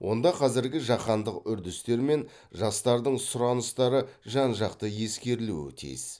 онда қазіргі жаһандық үрдістер мен жастардың сұраныстары жан жақты ескерілуі тиіс